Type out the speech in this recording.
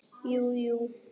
Jú, jú.